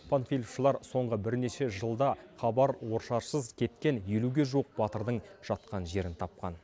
панфиловшылар соңғы бірнеше жылда хабар ошарсыз кеткен елуге жуық батырдың жатқан жерін тапқан